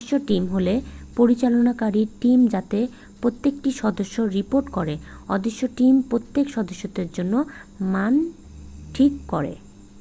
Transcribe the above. """অদৃশ্য টিম" হল পরিচালনকারী টিম যাতে প্রত্যেকটি সদস্য রিপোর্ট করে। অদৃশ্য টিম প্রত্যেক সদস্যের জন্য মান ঠিক করে।